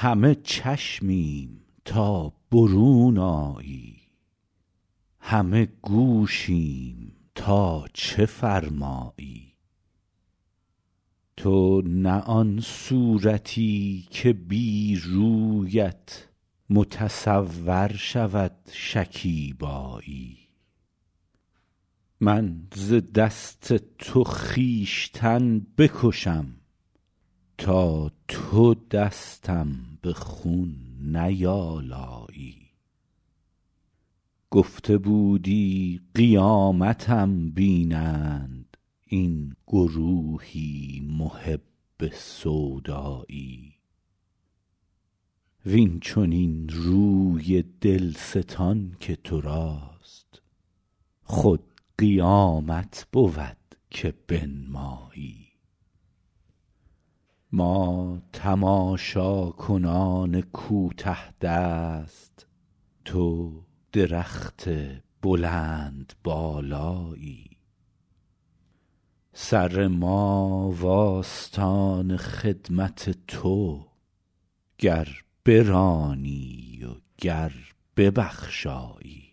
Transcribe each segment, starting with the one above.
همه چشمیم تا برون آیی همه گوشیم تا چه فرمایی تو نه آن صورتی که بی رویت متصور شود شکیبایی من ز دست تو خویشتن بکشم تا تو دستم به خون نیآلایی گفته بودی قیامتم بینند این گروهی محب سودایی وین چنین روی دل ستان که تو راست خود قیامت بود که بنمایی ما تماشاکنان کوته دست تو درخت بلندبالایی سر ما و آستان خدمت تو گر برانی و گر ببخشایی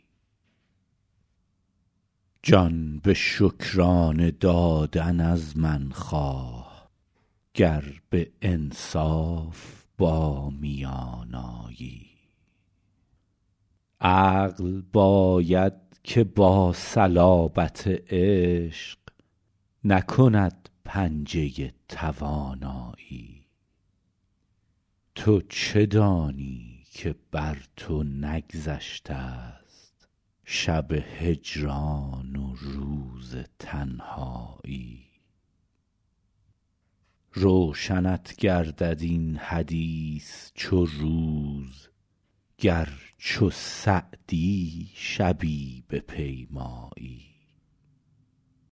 جان به شکرانه دادن از من خواه گر به انصاف با میان آیی عقل باید که با صلابت عشق نکند پنجه توانایی تو چه دانی که بر تو نگذشته ست شب هجران و روز تنهایی روشنت گردد این حدیث چو روز گر چو سعدی شبی بپیمایی